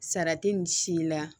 Sara tɛ nin si la